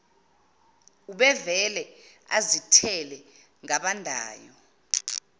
ubevele azithele ngabandayo